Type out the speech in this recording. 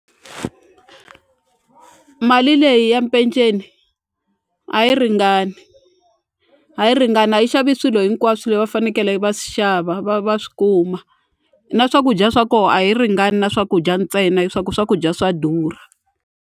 Mali leyi ya mpeceni a yi ringani a yi ringani a yi xavi swilo hinkwaswo leyi va fanekele va swi xava va va swi kuma na swakudya swa ko a yi ringani na swakudya ntsena hi swa ku swakudya swa durha.